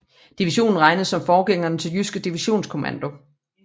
Division regnes som forgængeren til Jyske Divisionskommando